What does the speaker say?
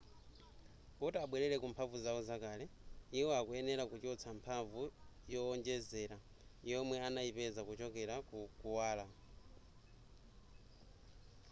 kuti abwerere ku mphamvu zawo zakale iwo akuyenera kuchotsa mphamvu yowonjezera yomwe anayipeza kuchokera ku kuwala